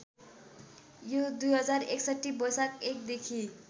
यो २०६१ वैशाख १ देखि